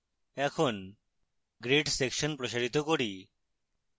এখন grade section প্রসারিত করি